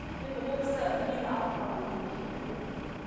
енді ол кісі дүниеге алты баланы дүниеге келтірген